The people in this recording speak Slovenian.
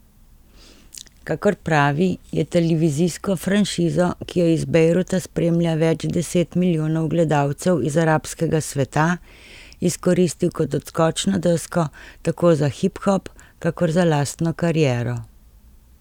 Kakor pravi, je televizijsko franšizo, ki jo iz Bejruta spremlja več deset milijonov gledalcev iz arabskega sveta, izkoristil kot odskočno desko tako za hiphop kakor za lastno kariero.